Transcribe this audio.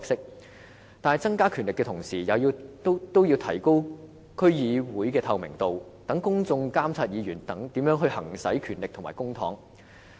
可是，在增加權力的同時，也要提高區議會的透明度，讓公眾監察議員如何行使權力和公帑。